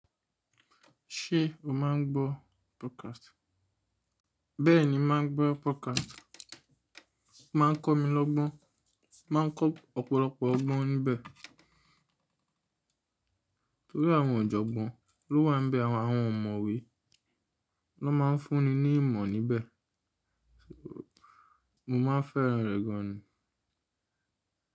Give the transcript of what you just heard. Ṣé o má ń gbọ́ podcast? Bẹ́ẹ̀ni, màá ń gbọ́ podcast. Máa kọ́ mi lọ́gbọ́n, máa ń kọ́ ọ̀pọ̀lọpọ̀ ọgbọ́n níbẹ̀. Torí àwọn ọ̀jọ̀gbọ́n ló wà níbẹ̀, àwọn ọ̀mọ̀wé ló máa ń fún ni ní ìmọ̀ níbẹ̀. Mo máa fẹ́ran rẹ̀ gan ni.